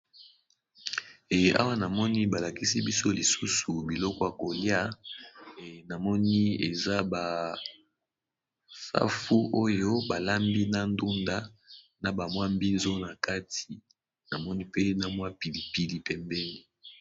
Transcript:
Mawa namoni balakisi biso lisusu biloko ya koliya namoni eza ba Safu, ndunda, mbinzo nakati pe pilipili pembeni.